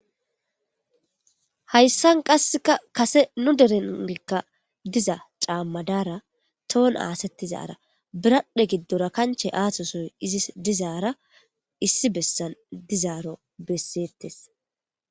Haysan qasekakase nu derenka diza caama dara ton aathetiza biradhe giddo kanchera izzis aathosoy dizara issi besan dizaro besetes.